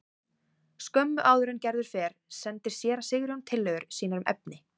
Skömmu áður en Gerður fer sendir séra Sigurjón tillögur sínar um efni.